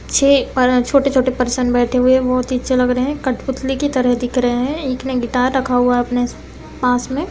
छे अ छोटे-छोटे पर्सन बैठे हुए हैं बहुत ही अच्छे लग रहे हैं कठपुतली की तरह दिख रहे हैं एक ने गिटार रखा हुआ है अपने पास में।